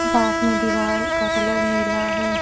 पास में दीवाल का कलर नीला है।